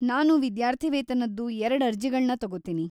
ನಾನು ವಿದ್ಯಾರ್ಥಿವೇತನದ್ದು ಎರಡ್ ಅರ್ಜಿಗಳ್ನ ತಗೋತೀನಿ.